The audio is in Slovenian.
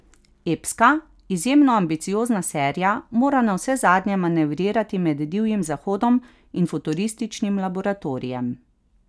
Epska, izjemno ambiciozna serija mora navsezadnje manevrirati med divjim zahodom in futurističnim laboratorijem.